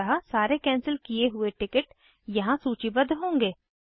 अतः सारे कैंसिल किये हुए टिकट यहाँ सूचीबद्ध होंगे